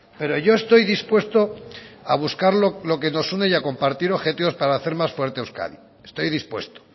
pero yo estoy dispuesto a buscar lo que nos une y a compartir objetivos para hacer más fuerte a euskadi estoy dispuesto